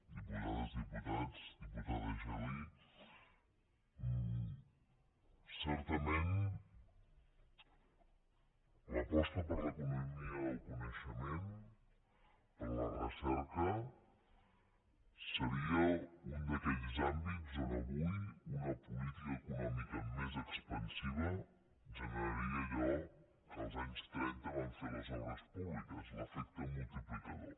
diputades diputats diputada geli certament l’aposta per l’economia del coneixement per la recerca seria un d’aquells àmbits on avui una política econòmica més expansiva generaria allò que als anys trenta van fer les obres públiques l’efecte multiplicador